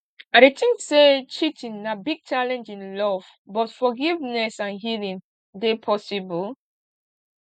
i dey think say cheating na big challenge in love but forgiveness and healing dey possible